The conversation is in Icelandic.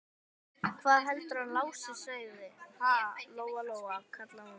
Hvað heldurðu að hann Lási segði, ha, Lóa Lóa, kallaði hún.